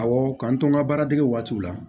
Awɔ k'an to n ka baara dege waati la